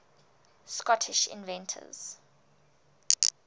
scottish inventors